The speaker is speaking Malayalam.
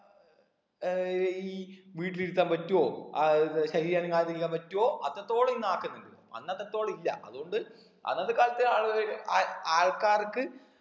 ഏർ ഈ വീട്ടിലിരുത്താൻ പറ്റുവോ ആഹ് ശരീരം അനങ്ങാതെ ഇരിക്കാൻ പറ്റോ അത്രത്തോളം ഈ നാട്ടിലുണ്ട് അന്നത്തെതോളം ഇല്ല അതുകൊണ്ട് അന്നത്തെ കാലത്തെ ആളുകള് ആ ആൾക്കാർക്ക്